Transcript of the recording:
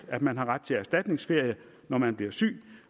at man har ret til erstatningsferie når man bliver syg